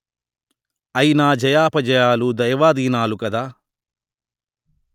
అయినా జయాపజయాలు దైవాధీనాలు కదా